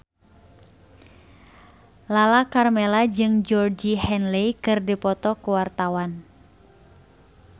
Lala Karmela jeung Georgie Henley keur dipoto ku wartawan